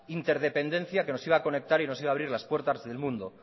interdependencia que nos iba a conectar y nos iba a abrir las puertas del mundo